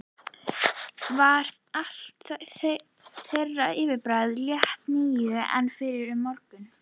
Var allt þeirra yfirbragð léttara nú en fyrr um morguninn.